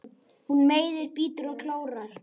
Hún meiðir, bítur og klórar.